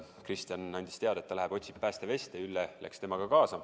Kristjan andis teada, et ta läheb ja otsib päästeveste, Ülle läks temaga kaasa.